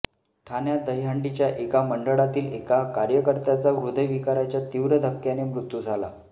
ठाण्यात दहीहंडीच्या एका मंडळातील एका कार्यकर्त्याचा ह्रदय विकाराच्या तिव्र धक्क्याने मृत्यू झाला